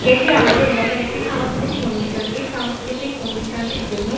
এটি আমাদের এলাকার সাংস্কৃতিক অনুষ্ঠান এই সাংস্কৃতিক অনুষ্ঠানটির জন্যই--